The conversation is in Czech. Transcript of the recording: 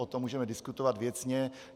O tom můžeme diskutovat věcně.